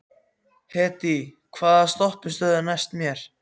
Hedí, hvaða stoppistöð er næst mér?